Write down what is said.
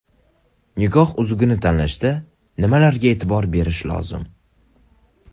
Nikoh uzugini tanlashda nimalarga e’tibor berish lozim?